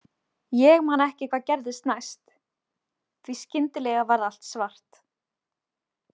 Ég man ekki hvað gerðist næst, því að skyndilega varð allt svart.